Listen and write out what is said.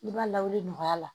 I b'a lawuli nɔgɔya la